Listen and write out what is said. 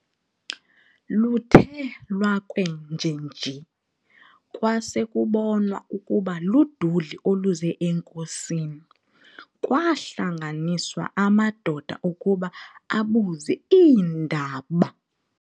Luthe lwakwenjenje kwasekubonwa ukuba luduli oluze enkosini, kwaahlanganiswa amadoda ukuba abuze iindaba.